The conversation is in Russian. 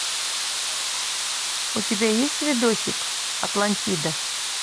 у тебя есть видосик атлантида